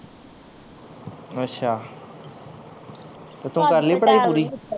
ਅੱਛਾ ਤੇ ਤੂੰ ਕਰ ਲਈ ਪੜ੍ਹਾਈ ਪੂਰੀ?